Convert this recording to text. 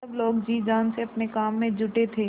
सब लोग जी जान से अपने काम में जुटे थे